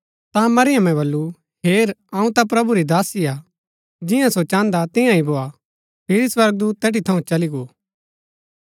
ता मरियमें बल्लू हेर अऊँ ता प्रभु री दासी हा जियां सो चाहन्दा तियां ही भोआ फिरी स्वर्गदूत तैठी थऊँ चल्ली गो